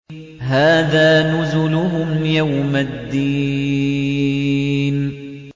هَٰذَا نُزُلُهُمْ يَوْمَ الدِّينِ